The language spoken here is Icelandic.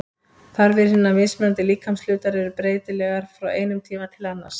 Þarfir hinna mismunandi líkamshluta eru breytilegar frá einum tíma til annars.